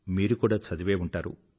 మీరు కూడా చదివే ఉంటారు